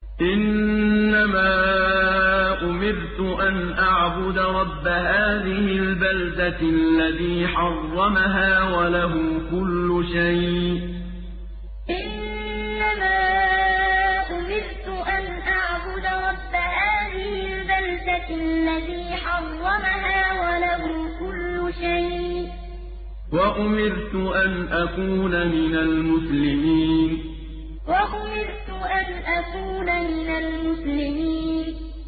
إِنَّمَا أُمِرْتُ أَنْ أَعْبُدَ رَبَّ هَٰذِهِ الْبَلْدَةِ الَّذِي حَرَّمَهَا وَلَهُ كُلُّ شَيْءٍ ۖ وَأُمِرْتُ أَنْ أَكُونَ مِنَ الْمُسْلِمِينَ إِنَّمَا أُمِرْتُ أَنْ أَعْبُدَ رَبَّ هَٰذِهِ الْبَلْدَةِ الَّذِي حَرَّمَهَا وَلَهُ كُلُّ شَيْءٍ ۖ وَأُمِرْتُ أَنْ أَكُونَ مِنَ الْمُسْلِمِينَ